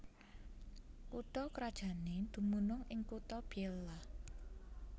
Kutha krajané dumunung ing kutha Biella